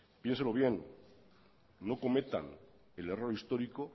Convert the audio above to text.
piénselo bien no cometan el error histórico